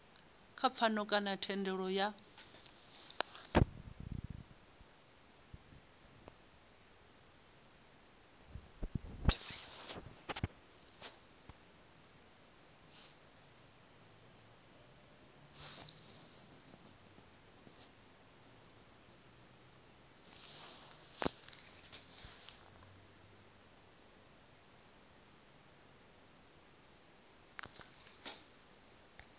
kha pfano kana thendelano ya